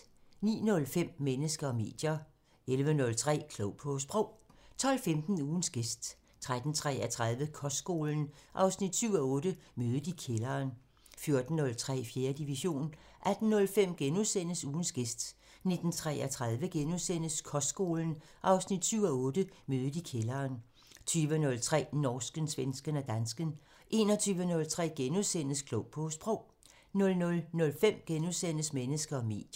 09:05: Mennesker og medier 11:03: Klog på Sprog 12:15: Ugens gæst 13:33: Kostskolen 7:8 – Mødet i kælderen 14:03: 4. division 18:05: Ugens gæst * 19:33: Kostskolen 7:8 – Mødet i kælderen * 20:03: Norsken, svensken og dansken 21:03: Klog på Sprog * 00:05: Mennesker og medier *